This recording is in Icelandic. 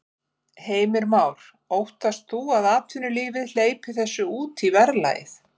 Heimir Már: Óttast þú að atvinnulífið hleypir þessu út í verðlagið?